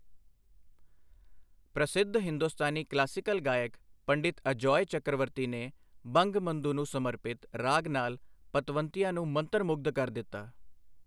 ਪ੍ਰਸਿੱਧ ਹਿੰਦੁਸਤਾਨੀ ਕਲਾਸੀਕਲ ਗਾਇਕ ਪੰਡਿਤ ਅਜੌਯ ਚਕਰਵਰਤੀ, ਨੇ ਬੰਗਬੰਧੂ ਨੂੰ ਸਮਰਪਿਤ ਰਾਗ ਨਾਲ ਪਤਵੰਤਿਆਂ ਨੂੰ ਮੰਤਰ ਮੁਗਧ ਕਰ ਦਿੱਤਾ।